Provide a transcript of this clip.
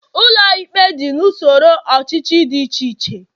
Ụlọikpe dị n'usoro ọchịchị dị iche iche